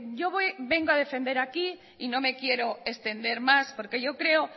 yo vengo a defender aquí y no me quiero extender más porque yo creo